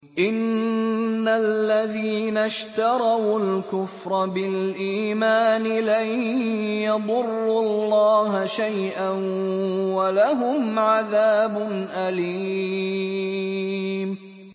إِنَّ الَّذِينَ اشْتَرَوُا الْكُفْرَ بِالْإِيمَانِ لَن يَضُرُّوا اللَّهَ شَيْئًا وَلَهُمْ عَذَابٌ أَلِيمٌ